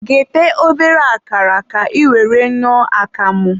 ghete obere akara ka ị were ñụọ akamụ.